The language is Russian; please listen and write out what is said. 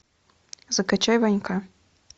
закачай ванька